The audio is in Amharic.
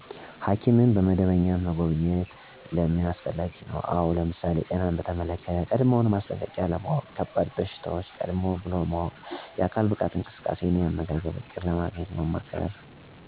ሕኪምን በመደበኛነት መጎብኘት ለምን አስፈላጊ ነው? አው ለምሳሌ፦ ጤናን በተመለክተ ቀድሞው ማስጠንቀቂያ ለማውቅ፣ ከባድ በሽታዎች ቀድም ብሎ ማወቅ፣ የአካል ብቃት እንቅስቃሴ እና የአመጋገብ እቅድ እና ምክር ለማግኘት፣ የአካል እና የአዕምሮ ጤና ለመቆጣጠር ያግዛል እናም አስቸኳይ እርምጃ ለመውስድ ዝግጁ ለመሆን ይጠቅማል። ጤናማ ሆኖ ለመቆየት ምን ማድርግ አለበት? ለሚለው የተመጣጠነ ምግብ መመገብ፣ በየ ቀኑ ለ30 ደቂቃ እንቅስቃሴ ወይም መራመድ፣ በቂ ውሃ መጠጣት ቢንስ (2-3)ሊትር፣ በቂ እንቅልፍ ማደረግ (8)ስአት ይህል፣ ጭንቀትን መቀነስ(ሙዚቃ ወይም መዝሙር መስማት) ፣በቂ ልማዶችን ማስወገድ..... ወዘተ የመሳሰሉትን ማድረግ።